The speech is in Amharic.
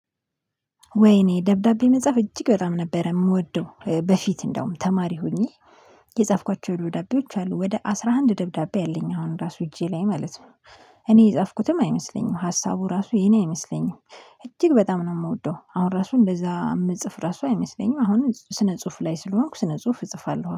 ወይኔ ደብዳቤ መጽሐፍ እጅግ በጣም ነበር የምወደው በፊት እንደውም ተማሪ ሆኜ የጻፍኳቸው ደብዳቤዎች አሉ ወደ አስራ አንድ ደብዳቤ አለኝ አሁን ራሱ እጄ ላይ ማለት ው። እኔ የጻፍኩትም አይመስለኝም ሀሳቡ ራሱ የኔ አይመስለኝም። እጅግ በጣም ነው የምወደው አሁን ራሱ እንደዛ የምጽፍ ራሱ አይመስለኝም አሁን ስነ ጽሁፍ ላይ ስለሆንኩ ስነ ጽሁፍ እጽፋለሁ